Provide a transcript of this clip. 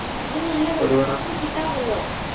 ഇത് നല്ല കിട്ടാറുണ്ടോ